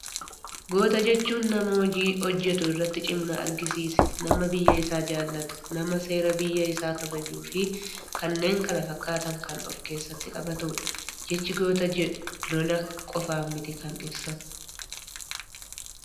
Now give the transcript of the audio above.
Goota jechuun nama hojii hojjetu irratti cimina argisiise, nama biyya isaa jaallatu, nama seera biyya isaa kabajuu fi kanneen kana fakkaatan kan of keessatti qabaatudha. Jechi goota jedhu lola qofaan miti kan ibsamu.